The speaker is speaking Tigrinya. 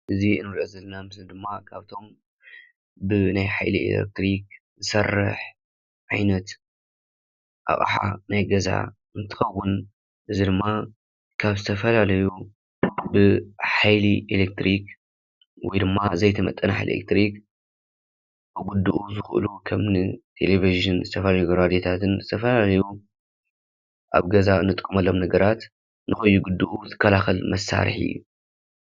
እዚ ንሪኦ ዘለና ምስሊ ድማ ካብቶም ብናይ ሓይሊ ኤሌክትሪክ ዝሰርሕ ዓይነት ኣቕሓ ናይ ገዛ ኣቕሓ እንትኸውን እዚ ድማ ካብ ብዝተፈላለዩ ብሓይሊ ኤሌክትሪክ ወይ ድማ ዘይተመጠነ ሓይሊ ኤለክትሪክ ክጉድኡ ይኽእሉ ከምኒ ቴሌቪዠን ዝተፈላለዩ ሬድዮታትን ዝተፈላለዩ ኣብ ገዛ ንጥቀመሎም ነገራት ንከይጉድኡ ዝከላከል መሳርሒ እዩ፡፡